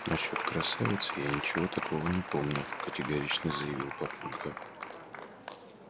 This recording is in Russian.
насчёт красавицы я ничего такого не помню категорично заявил папулька